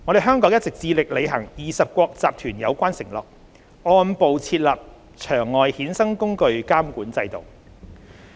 香港一直致力履行20國集團有關承諾，按步設立場外衍生工具監管制度。